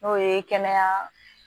N'o ye kɛnɛya